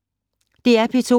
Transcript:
DR P2